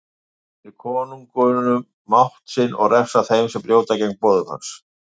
Hann veitir konungum mátt sinn og refsar þeim sem brjóta gegn boðum hans.